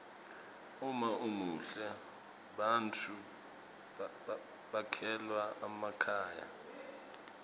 uma umuhle bantfu bekhelwa emakhaya